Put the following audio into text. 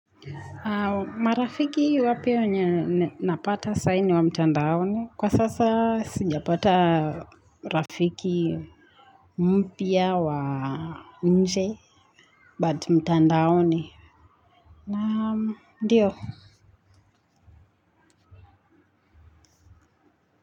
Marafiki wapya wenye napata sai ni wa mtandaoni kwa sasa sijapata rafika mpya wa nje but mtandaoni.